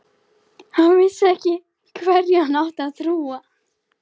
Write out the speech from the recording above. Hann vissi ekki hverju hann átti að trúa.